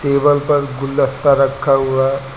table पर गुलदस्ता रखा हुआ--